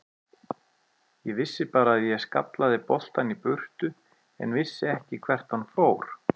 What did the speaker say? Ég vissi bara að ég skallaði boltann í burtu en vissi ekki hvert hann fór.